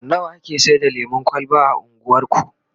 nawa ake Saida lemun kwalba a unguwarku?